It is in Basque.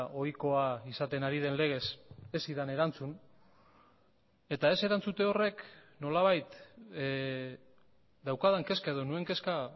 ohikoa izaten ari den legez ez zidan erantzun eta ez erantzute horrek nolabait daukadan kezka edo nuen kezka